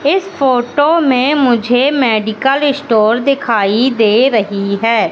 इस फोटो में मुझे मेडिकल स्टोर दिखाई दे रही है।